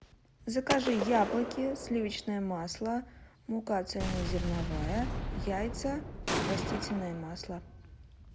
закажи яблоки сливочное масло мука цельнозерновая яйца растительное масло